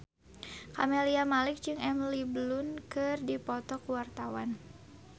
Camelia Malik jeung Emily Blunt keur dipoto ku wartawan